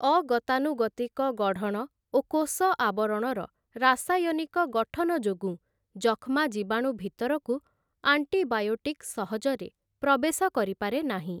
ଅଗତାନୁଗତିକ ଗଢ଼ଣ ଓ କୋଷ ଆବରଣର ରାସାୟନିକ ଗଠନ ଯୋଗୁ ଯକ୍ଷ୍ମା ଜୀବାଣୁ ଭିତରକୁ ଆଣ୍ଟିବାୟୋଟିକ୍ ସହଜରେ ପ୍ରବେଶ କରିପାରେ ନାହିଁ ।